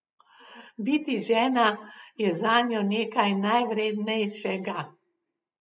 Biti žena je zanjo nekaj najvrednejšega.